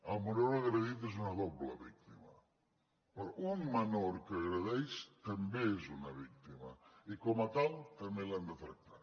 el menor agredit és una doble víctima però un menor que agredeix també és una víctima i com a tal també l’hem de tractar